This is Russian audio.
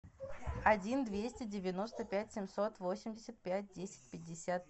один двести девяносто пять семьсот восемьдесят пять десять пятьдесят